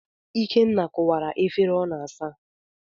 Ikenna kụwara efere ọ n'asa.